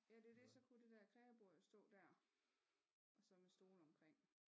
Ja det er det så kunne det dér kreabord jo stå der og så med stole omkring